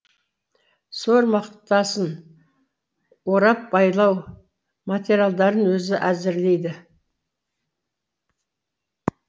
сор мақтасын орап байлау материалдарын өзі әзірлейді